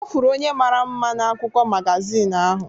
Ọ fụrụ onye mara mma n'akwụkwọ magazin ahụ.